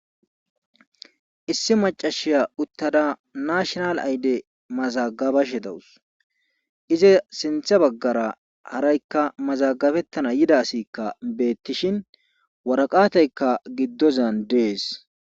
Issi maca nayiya uttadad nashinal ayde mazagabashe dawus. izi sinththa bagara haraykka mazagabethana yidaykka beetishin waraqateka gidozan dees.